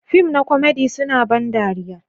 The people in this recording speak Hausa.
Fim na komedi suna ban dariya.